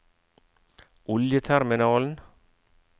oljeterminalen